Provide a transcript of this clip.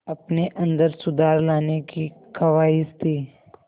अपने अंदर सुधार लाने की ख़्वाहिश थी